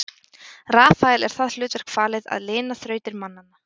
rafael er það hlutverk falið að lina þrautir mannanna